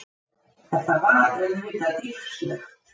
Þetta var auðvitað dýrslegt.